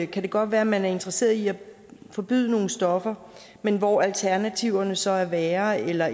kan det godt være at man er interesseret i at forbyde nogle stoffer men hvor alternativerne så er værre eller